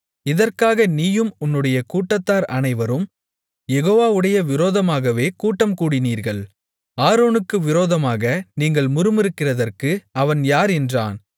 இதற்காக நீயும் உன்னுடைய கூட்டத்தார் அனைவரும் யெகோவாவுடைய விரோதமாகவே கூட்டம்கூடினீர்கள் ஆரோனுக்கு விரோதமாக நீங்கள் முறுமுறுக்கிறதற்கு அவன் யார் என்றான்